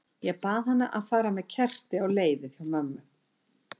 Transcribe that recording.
Ég bað hana um að fara með kerti á leiðið hjá mömmu.